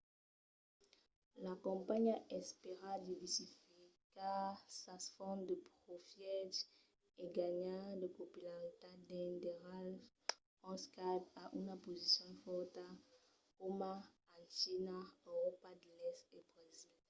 la companhiá espèra diversificar sas fonts de profièches e ganhar de popularitat dins d'airals ont skype a una posicion fòrta coma en china euròpa de l'èst e brasil